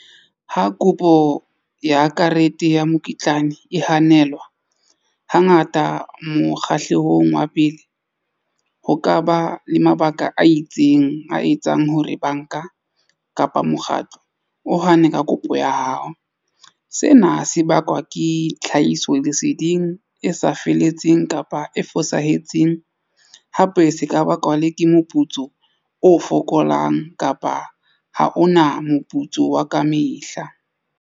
Ha kopo ya karete ya mokitlane e hanelwa hangata mokgahlelong wa pele ho kaba le mabaka a itseng a etsang hore banka kapa mokgatlo o hane ka kopo ya hao. Sena se bakwa ke tlhahisoleseding e sa feletseng kapa e fosahetseng hape se ka bakwa le ke moputso o fokolang kapa ho ona moputso wa ka mehla.